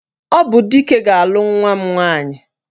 Ọ bụ Dike ga-alụ nwa m nwaanyị